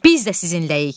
Biz də sizinləyik.